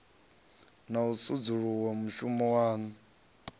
na u sedzulusa mushumo waṋu